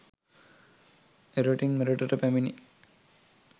එරටින් මෙරටට පැමිණි